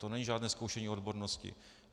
To není žádné zkoušení odbornosti.